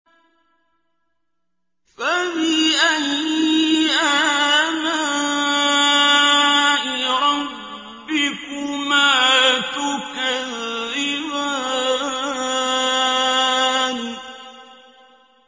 فَبِأَيِّ آلَاءِ رَبِّكُمَا تُكَذِّبَانِ